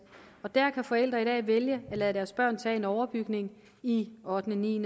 og der kan forældre i dag vælge at lade deres børn tage en overbygning i ottende ni